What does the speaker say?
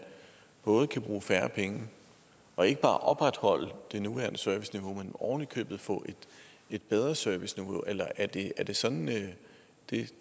både kan bruge færre penge og ikke bare opretholde det nuværende serviceniveau men ovenikøbet få et bedre serviceniveau eller er det er det sådan det